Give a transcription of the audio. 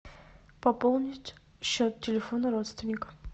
пополнить счет телефона родственника